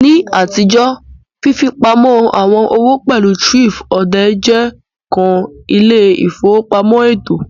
Ni atijo, fifipamọ awọn owo pẹlu thrift-odè je kan ile-ifowopamọ eto.